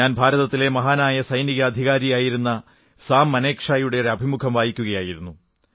ഞാൻ ഭാരതത്തിലെ മഹാനായ സൈനിക അധികാരിയായിരുന്ന സാം മനേക് ഷായുടെ ഒരു അഭിമുഖം വായിക്കുകയായിരുന്നു